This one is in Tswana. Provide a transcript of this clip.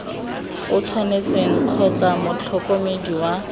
o tshwanetseng kgotsa motlhokomedi wa